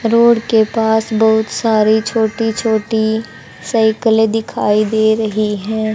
Road के पास बहुत सारी छोटी छोटी साइकिले दिखाई दे रही है।